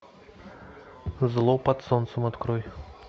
зло под солнцем открой